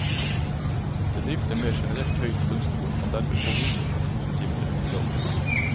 Bedrifter med generelt høyt lønnsnivå kan dermed få mindre pensjonsutgifter enn i dag.